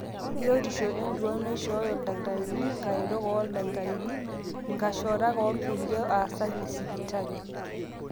biotishu entuaa naishooyo ildakitarini, inkaretok ooldakitarini, inkashorak orkulie aasak le sipitali